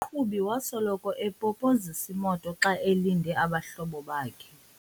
Lo mqhubi wasoloko epopozisa imoto xa elinde abahlobo bakhe.